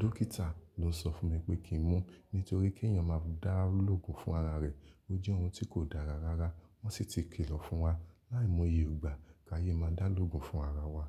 dókítà ló sọ fún mi pé kí n mu nítorí kí èèyàn máa dá lógun fún ara rẹ̀. Ó jẹ́ ohun tí kò dára rárá. Wọ́n sì ti ki lọ fún wa láì mọye igbà ká ye máa dá lógun fún ara wa.